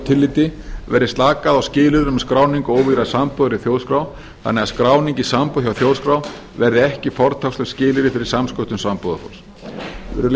tilliti verði slakað á skilyrðum skráningu og óvígðrar sambúðar í þjóðskrá þannig að skráning í sambúð hjá þjóðskrá verði ekki fortakslaust skilyrði fyrir samsköttun sambúðarfólks virðulegi